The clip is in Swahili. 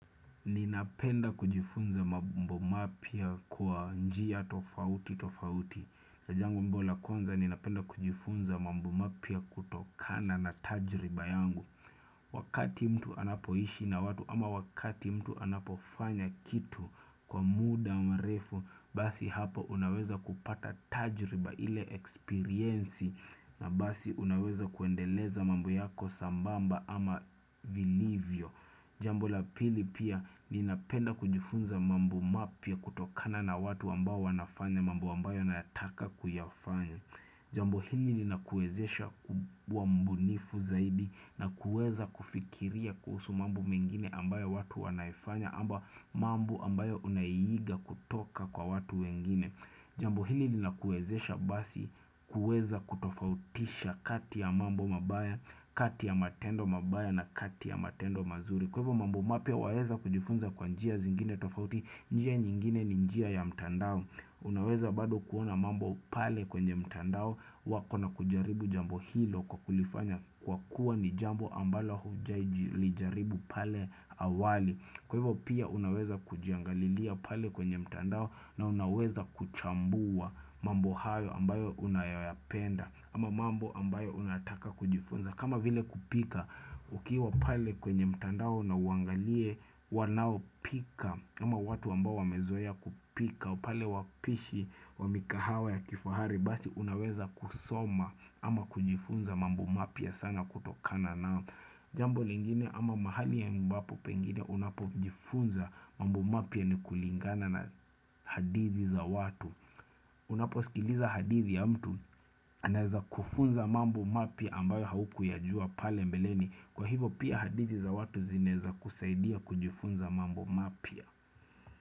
Ninapenda kujifunza mambo mapya kwa njia tofauti tofauti. Jambo ambalo la kwanza ninapenda kujifunza mambo mapya kutokana na tajriba yangu Wakati mtu anapoishi na watu ama wakati mtu anapofanya kitu kwa muda mrefu basi hapo unaweza kupata tajriba ile experiensi na basi unaweza kuendeleza mambo yako sambamba ama vilivyo Jambo la pili pia ninapenda kujifunza mambo mapya kutokana na watu ambao wanafanya mambo ambayo nayataka kuyafanya. Jambo hili linakuwezesha kuwa mbunifu zaidi na kuweza kufikiria kuhusu mambo mengine ambayo watu wanaifanya ama mambo ambayo unaiiga kutoka kwa watu wengine. Jambo hili linakuwezesha basi kuweza kutofautisha kati ya mambo mabaya, kati ya matendo mabaya na kati ya matendo mazuri. Kwa hivyo mambo mapya waweza kujifunza kwa njia zingine tofauti njia nyingine ni njia ya mtandao. Unaweza bado kuona mambo pale kwenye mtandao wako na kujaribu jambo hilo kwa kulifanya kwa kuwa ni jambo ambalo hujailijaribu pale awali. Kwa hivyo pia unaweza kujiangalilia pale kwenye mtandao na unaweza kuchambua mambo hayo ambayo unayoyapenda ama mambo ambayo unataka kujifunza. Kama vile kupika ukiwa pale kwenye mtandao na uangalie wanaopika ama watu ambao wamezoea kupika pale wapishi wa mikahawa ya kifahari basi unaweza kusoma ama kujifunza mambo mapya sana kutokana nao. Jambo lingine ama mahali ambapo pengine unapojifunza mambo mapya ni kulingana na hadithi za watu Unaposikiliza hadithi ya mtu anaweza kufunza mambo mapya ambayo haukuyajua pale mbeleni. Kwa hivyo pia hadithi za watu zinaweza kusaidia kujifunza mambo mapya.